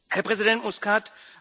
Herr Präsident Muscat!